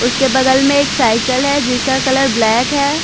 उसके बगल में एक साइकिल है जिसका कलर ब्लैक है।